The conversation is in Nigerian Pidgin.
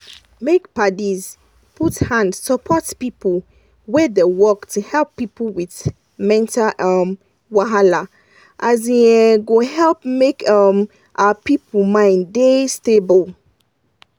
make padis put hand support people wey da work to help people with mental um wahala as e um go help make um our people mind da stable